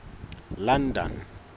london